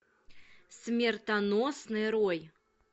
смертоносный рой